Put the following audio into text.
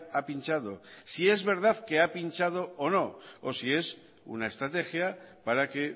ha pinchado si es verdad que ha pinchado o no o si es una estrategia para que